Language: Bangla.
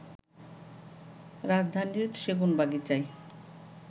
রাজধানীয় সেগুনবাগিচায়